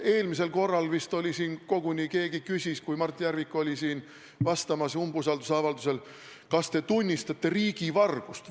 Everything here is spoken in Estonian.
Eelmisel korral vist oli isegi nii, et kui Mart Järvik oli siin vastamas umbusaladuse avaldusel, siis keegi küsis koguni: "Kas te tunnistate riigivargust?